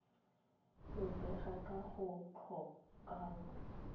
go bega ka go tlhokaina